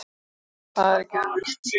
Það er ekki auðvelt.